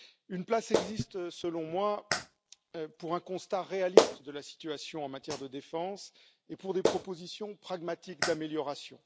Une place existe selon moi pour un constat réaliste de la situation en matière de défense et pour des propositions pragmatiques d'amélioration.